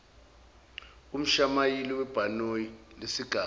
kumshayeli webhanoyi lesigaba